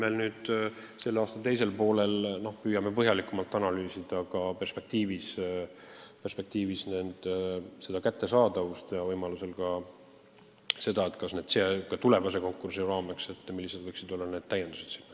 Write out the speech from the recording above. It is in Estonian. Aga selle aasta teisel poolel me püüame õigusabi kättesaadavust põhjalikumalt analüüsida ja võimalusel tulevase konkursi raames tingimusi ka täiendada.